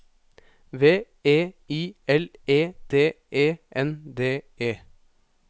V E I L E D E N D E